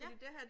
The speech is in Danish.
Ja